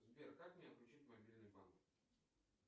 сбер как мне отключить мобильный банк